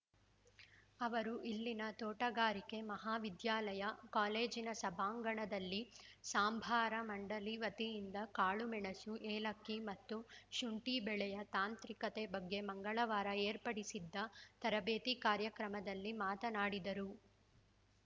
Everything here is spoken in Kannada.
ಅವರು ಇಲ್ಲಿನ ತೋಟಗಾರಿಕೆ ಮಹಾವಿದ್ಯಾಲಯ ಕಾಲೇಜಿನ ಸಭಾಂಗಣದಲ್ಲಿ ಸಾಂಬಾರ ಮಂಡಳಿ ವತಿಯಿಂದ ಕಾಳುಮೆಣಸು ಏಲಕ್ಕಿ ಮತ್ತು ಶುಂಠಿ ಬೆಳೆಯ ತಾಂತ್ರಿಕತೆ ಬಗ್ಗೆ ಮಂಗಳವಾರ ಏರ್ಪಡಿಸಿದ್ದ ತರಬೇತಿ ಕಾರ್ಯಕ್ರಮದಲ್ಲಿ ಮಾತನಾಡಿದರು